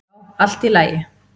"""Já, allt í lagi."""